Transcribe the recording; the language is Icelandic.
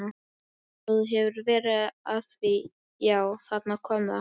Svo þú hefur verið að því já, þarna kom það.